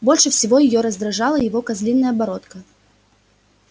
больше всего её раздражала его козлиная бородка